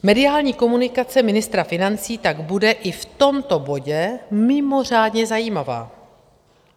Mediální komunikace ministra financí tak bude i v tomto bodě mimořádně zajímavá.